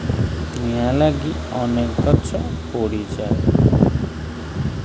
ନିଆଁ ଲାଗି ଅନେକଗଛ ପୋଡି ଯାଏ।